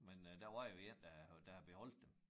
Men øh der var jo én der havde der havde beholdt dem